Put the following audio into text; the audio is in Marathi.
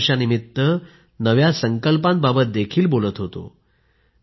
नव्या वर्षानिमित्त नव्या संकल्पांबाबत देखील बोलत होतो